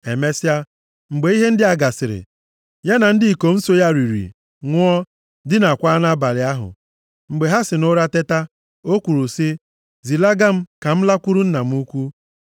Emesịa, mgbe ihe ndị a gasịrị, ya na ndị ikom so ya riri, ṅụọ, dinaakwa nʼabalị ahụ. Mgbe ha si nʼụra teta, o kwuru sị, “Zilaga m ka m lakwuru nna m ukwu.”